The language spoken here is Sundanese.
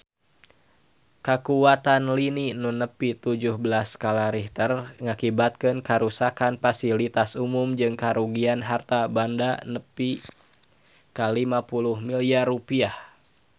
Kakuatan lini nu nepi tujuh belas skala Richter ngakibatkeun karuksakan pasilitas umum jeung karugian harta banda nepi ka 50 miliar rupiah